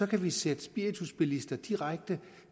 kan vi sende spiritusbilister direkte